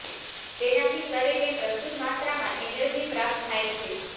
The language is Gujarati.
તેનાથી શરીરને પ્રચુર માત્રામાં એનર્જી પ્રાપ્ત થાય છે